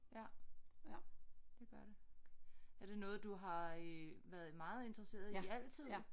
Ja det gør det er det noget du har øh været meget interesseret i altid